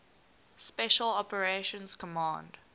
special operations command